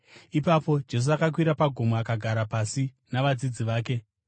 Ipapo Jesu akakwira pagomo akagara pasi navadzidzi vake.